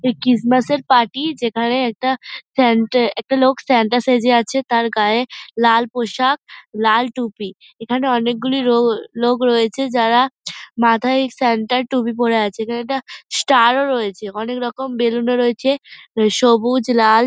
এ Christmas এর party যেখানে একটা সান্তা একটা লোক সান্তা সেজে আছে তার গায়ে লাল পোশাক লাল টুপি। এখানে অনেক গুলি রো লোক রয়েছে যারা মাথায় সান্তা টুপি পরে আছে এখানে একটা ষ্টার ও রয়েছে অনেক রকম বেলুন ও রয়েছে সবুজ লাল।